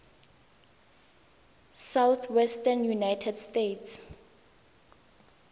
southwestern united states